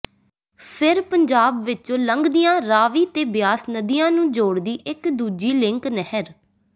ਫਿਰ ਪੰਜਾਬ ਵਿੱਚੋਂ ਲੰਘਦੀਆਂ ਰਾਵੀ ਤੇ ਬਿਆਸ ਨਦੀਆਂ ਨੂੰ ਜੋੜਦੀ ਇੱਕ ਦੂਜੀ ਲਿੰਕ ਨਹਿਰ